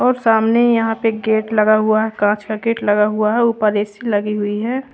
और सामने यहां पे गेट लगा हुआ है कांच का गेट लगा हुआ है ऊपर ए_सी लगी हुई है।